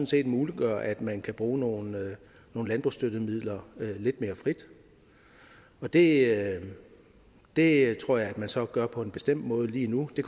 set muliggør at man kan bruge nogle nogle landbrugsstøttemidler lidt mere frit og det det tror jeg at man så gør på en bestemt måde lige nu det